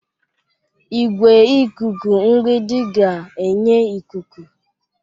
Igwe ikuku mgbidi ga-enye ikuku.